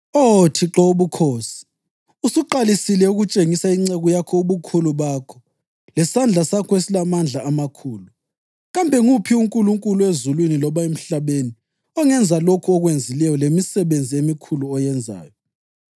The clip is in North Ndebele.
‘Oh Thixo wobukhosi, usuqalisile ukutshengisa inceku yakho ubukhulu bakho lesandla sakho esilamandla amakhulu. Kambe nguphi unkulunkulu ezulwini loba emhlabeni ongenza lokhu okwenzileyo lemisebenzi emikhulu oyenzayo?